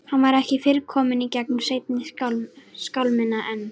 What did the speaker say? Hann var ekki fyrr kominn í gegnum seinni skálmina en